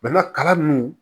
kalan nunnu